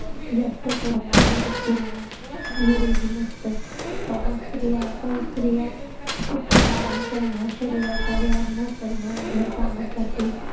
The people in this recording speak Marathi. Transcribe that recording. जास्त करून आजारी किंवा निरोगी नसत कारण स्त्रिया काही स्त्रिया खूपच आराम करणं शरीराचा व्यायाम न करणं घरकामासाठी